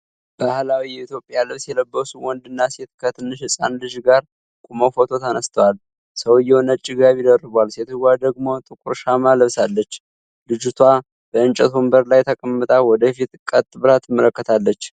ባህላዊ የኢትዮጵያ ልብስ የለበሱ ወንድና ሴት ከትንሽ ህጻን ልጅ ጋር ቆመው ፎቶ ተነስተዋል። ሰውየው ነጭ ጋቢ ደርቧል፤ ሴትየዋ ደግሞ ጥቁር ሻማ ለብሳለች። ልጅቷ በእንጨት ወንበር ላይ ተቀምጣ ወደ ፊት ቀጥ ብላ ትመለከታለች።